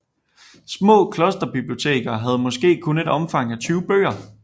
Små klosterbiblioteker havde måske kun et omfang af 20 bøger